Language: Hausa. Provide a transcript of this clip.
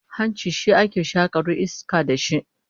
Hanci shi ake shakaru iska da shi